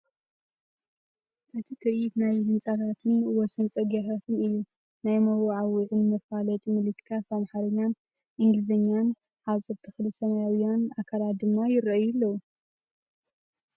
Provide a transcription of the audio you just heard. እቲ ትርኢት ናይ ህንጻታትን ወሰን ጽርግያታትን እዩ። ናይ መወዓውዒወይ መፋለጢ ምልክታት ብኣምሓርኛን እንግሊዝኛን፣ ሓጹር፣ ተኽሊ፣ ሰማያውያን ኣካላት ድማ ይረኣዩ ኣለው።